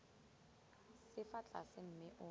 se fa tlase mme o